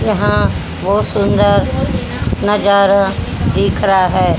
यहां बहुत सुंदर नजारा दिख रहा है।